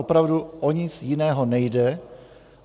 Opravdu o nic jiného nejde.